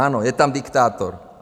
Ano, je tam diktátor.